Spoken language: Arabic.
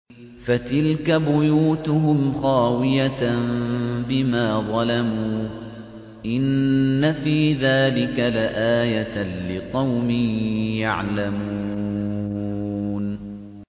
فَتِلْكَ بُيُوتُهُمْ خَاوِيَةً بِمَا ظَلَمُوا ۗ إِنَّ فِي ذَٰلِكَ لَآيَةً لِّقَوْمٍ يَعْلَمُونَ